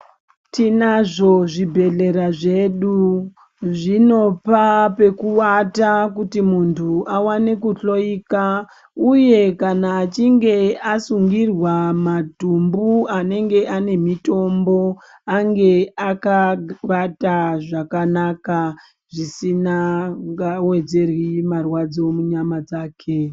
Tinazvo zvibhedhlera zvedu. Zvinopa pekuwata kuti muntu awane kuhloika, uye kana achinge asungirwa madhumbu anenge ane mitombo, ange akagawata zvakanaka, zvisinangawedzeryi marwadzo munyama dzake.